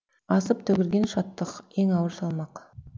асып төгілген шаттық ең ауыр салмақ